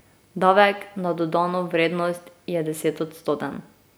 Davek na dodano vrednost je desetodstoten.